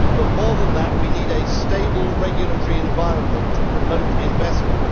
But more than that, we need a stable regulatory environment to promote investment.